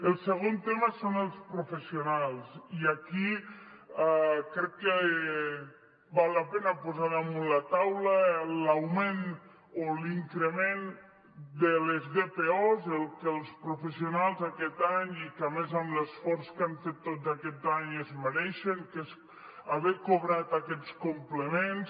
el segon tema són els professionals i aquí val la pena posar damunt la taula l’augment o l’increment de les dpos o el que els professionals aquest any i a més amb l’esforç que hem fet tot aquest any es mereixen que és haver cobrat aquests complements